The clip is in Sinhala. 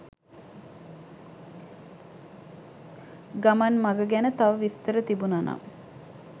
ගමන් මඟ ගැන තව විස්තර තිබුණනම්